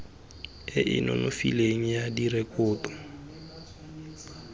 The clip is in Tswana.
e e nonofileng ya direkoto